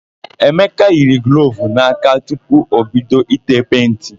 Emeka yiri glovu n'aka tupu o bido i tee penti.